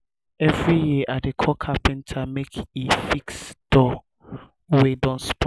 every year i dey call carpenter make e fix doors wey don spoil.